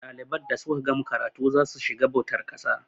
ɗaliban da suka gama karatu za su shiga bautar ƙasa